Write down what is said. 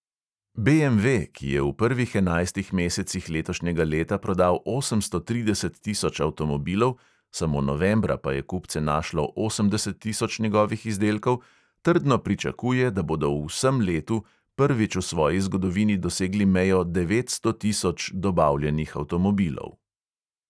BMV, ki je v prvih enajstih mesecih letošnjega leta prodal osemsto trideset tisoč avtomobilov, samo novembra pa je kupce našlo osemdeset tisoč njegovih izdelkov, trdno pričakuje, da bodo v vsem letu prvič v svoji zgodovini dosegli mejo devetsto tisoč dobavljenih avtomobilov.